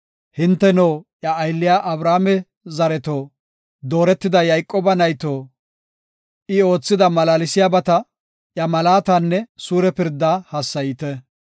Hinteno, iya aylliya Abrahaame zareto, dooretida Yayqooba nayto, I oothida malaalsiyabata, iya malaatanne suure pirdaa hassayite.